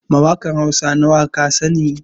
Mawakan Hausa nawa kasani?